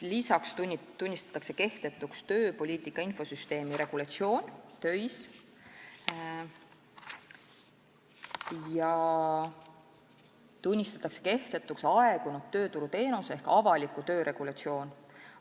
Peale selle tunnistatakse kehtetuks tööpoliitika infosüsteemi TÖIS regulatsioon ja aegunud tööturuteenus ehk avaliku töö regulatsioon.